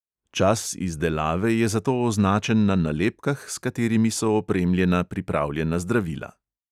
Čas izdelave je zato označen na nalepkah, s katerimi so opremljena pripravljena zdravila.